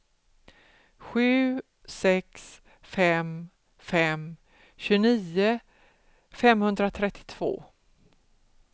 sju sex fem fem tjugonio femhundratrettiotvå